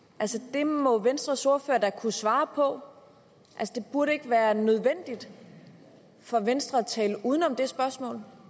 det må venstres ordfører da kunne svare på det burde ikke være nødvendigt for venstre at tale uden om det spørgsmål